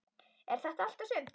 Er þetta allt og sumt?